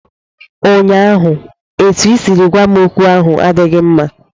ụnyaahụ, etu i siri gwa m okwu ahụ adịghị mma